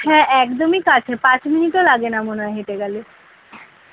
হ্যাঁ একদমই কাছে পাঁচ minute ও লাগে না মনে হয় হেঁটে গেলে।